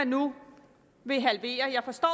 nu vil halvere jeg forstår